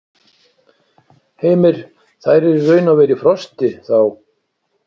Heimir: Þær eru raun og veru í frosti, þá?